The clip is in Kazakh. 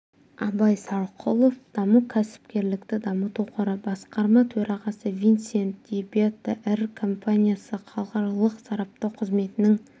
абай сарқұлов даму кәсіпкерлікті дамыту қоры басқарма төрағасы винцент ди бетта ір компаниясы халықаралық сараптау қызметінің